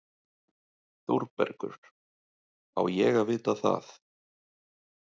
ÞÓRBERGUR: Á ég að vita það?